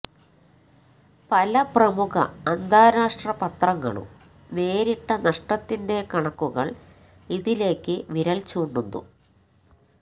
പല പ്രമുഖ അന്താരാഷ്ട്ര പത്രങ്ങളും നേരിട്ട നഷ്ടത്തിന്റെ കണക്കുകള് ഇതിലേക്ക് വിരല് ചൂണ്ടുന്നു